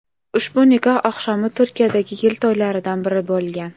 Ushbu nikoh oqshomi Turkiyadagi yil to‘ylaridan biri bo‘lgan.